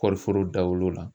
Kɔɔri foro dawolo la.